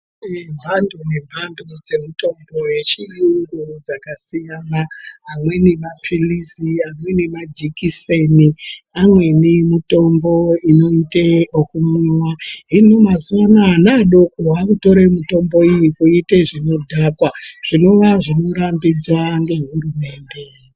Kune mhando nemhando dzemitombo yechiyungu dzakasiyana. Amweni maphirizi, amweni majekiseni, amweni mutombo unoita ekumwiva. Hino mazuva anaya ana adoko anotore mitombo iyi kuiite zvinodhakwa zvinova zvinorambidza ngehurumende.